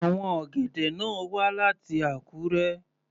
Àwọn ọ̀gẹ̀dẹ̀ náà wá láti Akure.